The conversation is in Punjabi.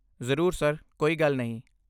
ਜ਼ਰੂਰ ਸਰ, ਕੋਈ ਗੱਲ ਨਹੀਂ।